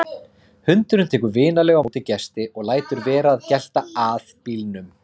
Hundurinn tekur vinalega á móti gesti og lætur vera að gelta að bílnum.